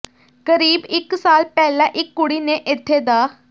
ਕਰੀਬ ਇੱਕ ਸਾਲ ਪਹਿਲਾਂ ਇੱਕ ਕੁੜੀ ਨੇ ਇੱਥੇ ਡਾ